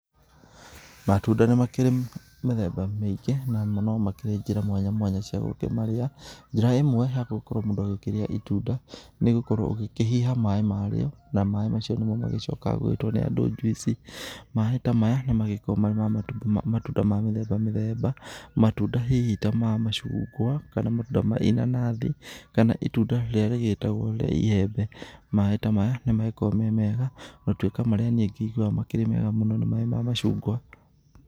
Matunda nĩ makĩrĩ mĩthemba mĩingĩ namo no makĩrĩ njĩra mwanyamwanya cia gũkĩmarĩa. Njĩra ĩmwe ya gũkorwo mũndũ akĩrĩa itunda nĩgũkorwo ũgĩkĩhiha maĩ marĩo na maĩ macio nĩmo magĩcokaga gũgĩtwo nĩ andũ juice .Maĩ ta maya nĩ magĩkoragwo mema matunda mĩthemba mĩthemba. Matunda hihi ta, ma macungwa, kana matunda ma inanathi kana itunda rĩrĩa rĩgĩtagwo rĩa iembe. Maĩ ta maya nĩ magĩkoragwo memega ona gũtuĩka marĩa niĩ ngĩiguaga makĩrĩ mega nĩ maĩ ma macungwa.